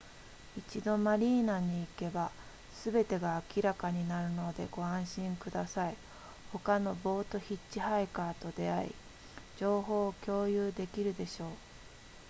一度マリーナに行けばすべてが明らかになるのでご安心ください他のボートヒッチハイカーと出会い情報を共有できるでしょう